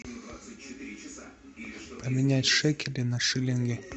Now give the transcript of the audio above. поменять шекели на шиллинги